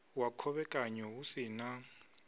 wa khovhekanyo hu si na